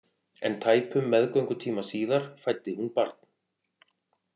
En tæpum meðgöngutíma síðar fæddi hún barn.